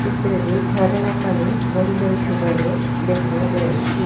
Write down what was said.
ଚିତ୍ରରେ ଝରଣା ପାଣି ବୋହି ଯାଉଥିବାର ଦେଖାଯାଉଛି।